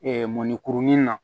mɔnikurunin na